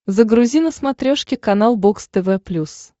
загрузи на смотрешке канал бокс тв плюс